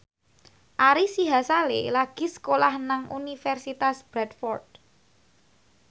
Ari Sihasale lagi sekolah nang Universitas Bradford